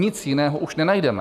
Nic jiného už nenajdeme.